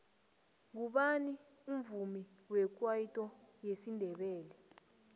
ngubani umvumi wekwayito wesindebele